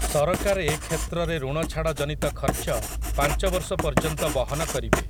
ସରକାର ଏ କ୍ଷେତ୍ରରେ ଋଣଛାଡ଼ ଜନିତ ଖର୍ଚ୍ଚ ପାଞ୍ଚ ବର୍ଷ ପର୍ଯ୍ୟନ୍ତ ବହନ କରିବେ ।